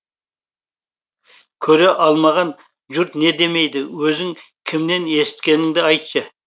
көре алмаған жұрт не демейді өзің кімнен есіткеніңді айтшы